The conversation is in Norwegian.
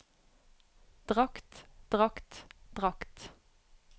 drakt drakt drakt